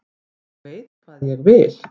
Ég veit hvað ég vil!